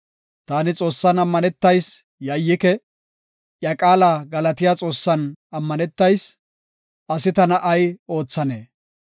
Taani Xoossan ammanetayis; yayyike; iya qaala galatiya Xoossan ammanetayis; asi tana ay oothanee?